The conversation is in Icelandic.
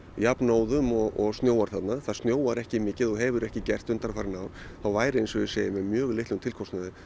jafnóðum og snjóar þarna það snjóar ekki mikið og hefur ekki gert undanfarin ár þá væri eins og ég segi með mjög litlum tilkostnaði